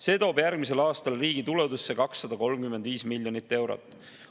See toob järgmisel aastal riigi tuludesse 235 miljonit eurot.